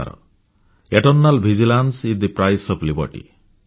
internal vigilance is price of liberty